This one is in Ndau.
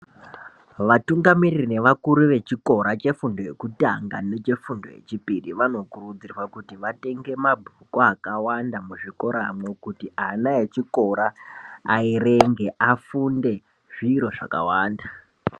Vatungamiri nevakuru vechikora chefundo yekutanga nechefundo yechipiri , vanokurudzirwa kuti vatenge mabhuku akawanda muzvikora umu kuti ana echikora ayerenge, afunde zviro zvakawanda.